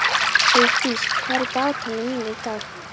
Heiðdís, hvað er í dagatalinu mínu í dag?